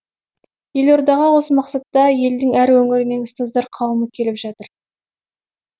елордаға осы мақсатта елдің әр өңірінен ұстаздар қауымы келіп жатыр